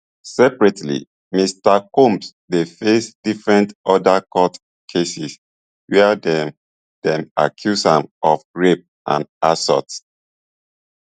separately mr combs dey face different oda court cases wia dem dem accuse am of rape and assault